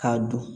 K'a don